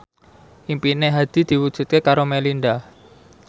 impine Hadi diwujudke karo Melinda